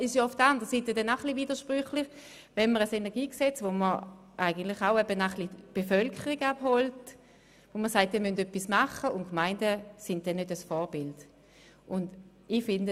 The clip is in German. Es ist auch ein bisschen widersprüchlich, wenn man auf der einen Seite mit dem KEnG die Bevölkerung abholen will, die Gemeinden aber auf der anderen Seite kein Vorbild sind.